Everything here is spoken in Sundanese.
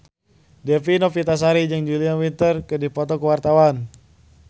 Dewi Novitasari jeung Julia Winter keur dipoto ku wartawan